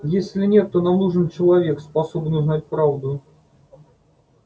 если нет то нам нужен человек способный узнать правду